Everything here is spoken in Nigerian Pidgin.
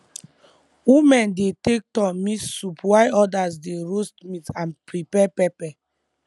women dey take turn mix soup while others dey roast meat and prepare pepper